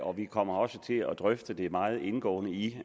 og vi kommer også til at drøfte det meget indgående i